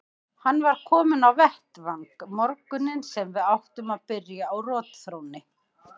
Hann var kominn á vettvang morguninn sem við áttum að byrja á rotþrónni.